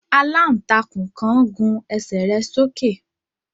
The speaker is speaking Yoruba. Àlàntakún kan gùn ẹ́sẹ rẹ sóke